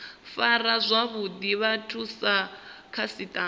fara zwavhuḓi vhathu sa khasiṱama